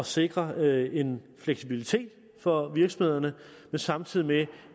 sikre en fleksibilitet for virksomhederne samtidig med